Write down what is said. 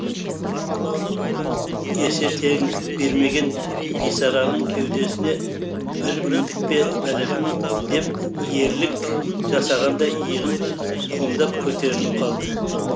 есе теңдік бермеген бисараның кеудесіне бір міндік пе бәлем деп ерлік жасағандай иығын қомдап көтеріліп қалды